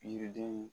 Yiridenw